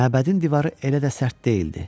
Məbədin divarı elə də sərt deyildi.